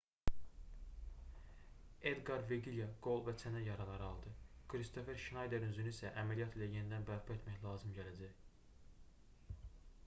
edqar veqilya qol və çənə yaraları aldı kristofer şnayderin üzünü isə əməliyyat ilə yenidən bərpa etmək lazım gələcək